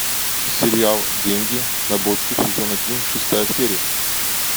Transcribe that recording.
сериал деньги на бочку сезон один шестая серия